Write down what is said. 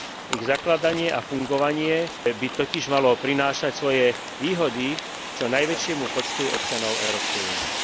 Ich zakladanie a fungovanie by totiž malo prinášať svoje výhody, čo najväčšiemu počtu občanov Európskej únie.